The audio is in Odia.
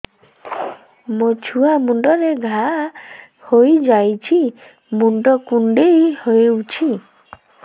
ମୋ ଛୁଆ ମୁଣ୍ଡରେ ଘାଆ ହୋଇଯାଇଛି ମୁଣ୍ଡ କୁଣ୍ଡେଇ ହେଉଛି